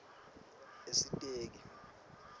esiteki